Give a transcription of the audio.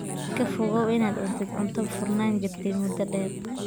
Ka fogow inaad cuntid cunto furnaan jirtay muddo dheer.